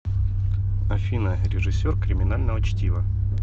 афина режиссер криминального чтива